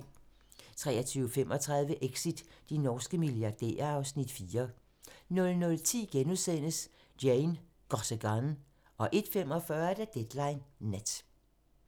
23:35: Exit - de norske milliardærer (Afs. 4) 00:10: Jane Got a Gun * 01:45: Deadline Nat